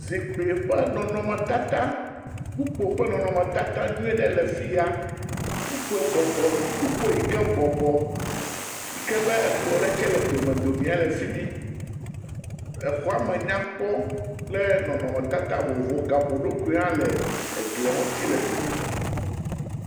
Zikpui ƒe nɔnɔmetata. Kpukpoe ƒe nɔnɔmetata nyui aɖe le afi ya. Kpukpoe bɔbɔ kpukpoe yi ke bɔbɔ yi ke be ekplɔ aɖe tse le domedome le fi mi. Exɔa me nyakpɔ kple nɔnɔtata vovovowo. Gaƒoɖokui hã le eglia ŋuti le fi mi.